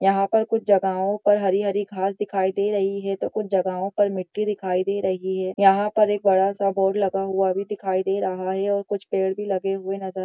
यहाँ पर कुछ जगहों पर हरी-हरी घास दिखाई दे रही है तो कुछ जगहों पर मिट्टी दिखाई दे रही है| यहाँ पर एक बड़ा-सा बोर्ड लगा हुआ भी दिखाई दे रहा है और कुछ पेड़ भी लगे हुए नजर --